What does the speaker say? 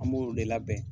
An b'o de labɛn